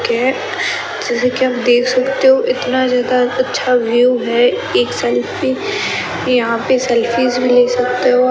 Gate जैसे की आप देख सकते हो इतना ज्यादा अच्छा व्यू हैं एक सेल्फी यहाँ पे सेल्फीज भीं ले सकते हो।